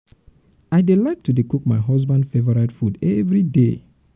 i dey like to dey cook my husband favourite food everyday.